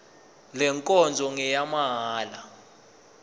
le nkonzo ngeyamahala